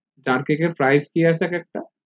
jar cake এর price কি আছে একএকটা